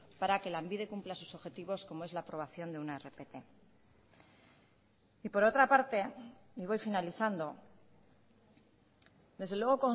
para que lanbide cumpla sus objetivos como es la aprobación de una rpt y por otra parte y voy finalizando desde luego